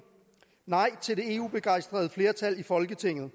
nej til det eu begejstrede flertal i folketinget